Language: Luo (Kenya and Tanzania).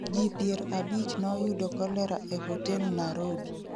ji pier abich noyudo kolera e hotel narobi